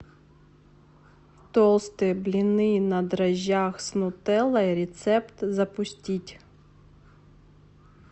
толстые блины на дрожжах с нутеллой рецепт запустить